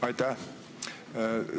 Aitäh!